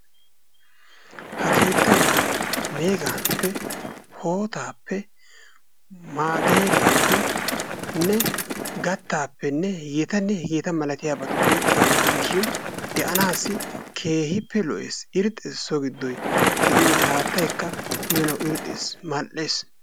Ha keettay meegappe, hootappe, maageriyappenne gattappenne h.h.malatiyabatuppe keexettiis shin de'anaassi keehippe lo'ees, irxxees, so giddoy de'iyode haattaykka uyanawu irxxees, mal'ees.